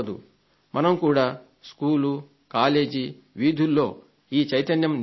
మనం కూడా బడి కళాశాల వీధులలో ఈ చైతన్యం నింపాలి